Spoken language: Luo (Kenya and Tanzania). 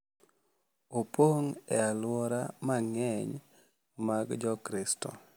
Opong’ e alwora mang’eny mag Jokristo,